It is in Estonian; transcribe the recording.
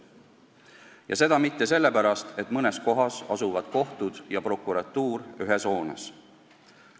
Ja seda mitte sellepärast, et mõnes kohas asuvad kohtud ja prokuratuur ühes hoones.